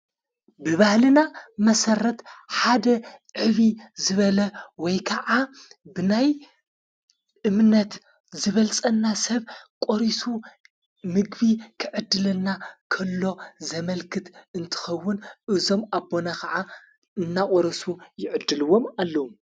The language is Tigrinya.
ብባህልና መሠረት ሓደ ዕቢ ዝበለ ወይ ከዓ ብናይ እምነት ዝበልጸና ሰብ ቖሪሱ ምግቢ ክዕድለና ከሎ ዘመልክት እንትኸውን እዞም ኣቦነ ኸዓ እናቖረሱ ይዕድልዎም ኣለው።